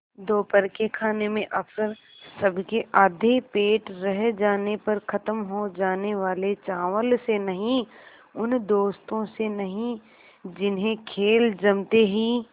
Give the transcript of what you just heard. दोपहर के खाने में अक्सर सबके आधे पेट रह जाने पर ख़त्म हो जाने वाले चावल से नहीं उन दोस्तों से नहीं जिन्हें खेल जमते ही